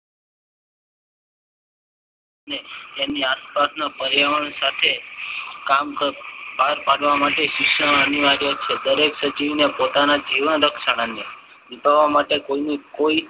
તેની આસપાસના પર્યાવરણ સાથે કામ કરવા માટે અનિવાર્ય છે. દરેક સજીવને પોતાના જીવન રક્ષણ અને નિભાવવા માટે કોઈની કોઈ